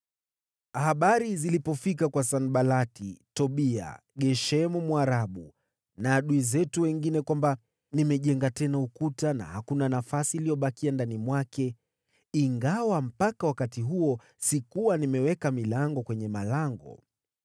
Habari zilipofika kwa Sanbalati, Tobia, Geshemu Mwarabu, na adui zetu wengine kwamba nimejenga tena ukuta na hakuna nafasi iliyobakia ndani mwake, ingawa mpaka wakati huo sikuwa nimeweka milango kwenye malango,